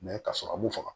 ka sɔrɔ mu faga